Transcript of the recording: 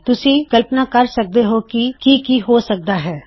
ਤੁਸੀਂ ਕਲਪਨਾ ਕਰੋ ਕੀ ਕੀ ਹੋ ਹੋਵੇ ਗਾ